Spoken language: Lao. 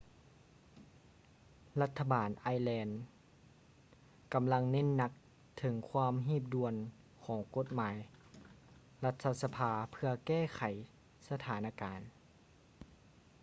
ລັດຖະບານໄອແລນ irish ກຳລັງເນັ້ນໜັກເຖິງຄວາມຮີບດ່ວນຂອງກົດໝາຍລັດຖະສະພາເພື່ອແກ້ໄຂສະຖານະການ